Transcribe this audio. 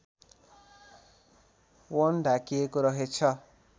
वन ढाकिएको रहेछ